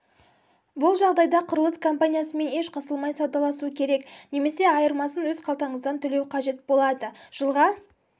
бұл жағдайда құрылыс компаниясымен еш қысылмай саудаласу керек немесе айырмасын өз қалтаңыздан төлеу қажет болады жылға